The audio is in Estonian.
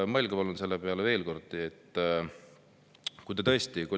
Mõelge palun selle peale veel kord, koalitsioonisaadikud.